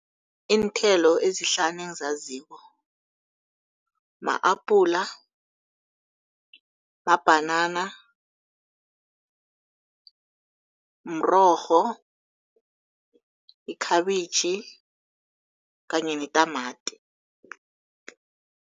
Iinthelo ezihlanu engizaziko ma-apula, mabhanana, mrorho, ikhabitjhi kanye netamati.